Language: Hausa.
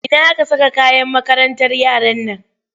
Ina aka saka kayan makarantar yaran nan?